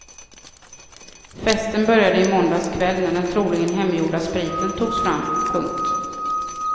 Festen började i måndags kväll när den troligen hemgjorda spriten togs fram. punkt